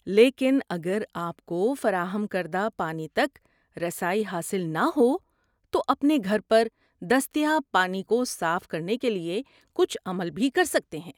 لیکن اگر آپ کو فراہم کردہ پانی تک رسائی حاصل نہ ہو تو اپنے گھر پر دستیاب پانی کو صاف کرنے کے لیے کچھ عمل بھی کر سکتے ہیں۔